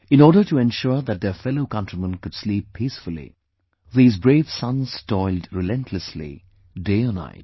In order to ensure that their fellow countrymen could sleep peacefully, these brave sons toiled relentlessly, day or night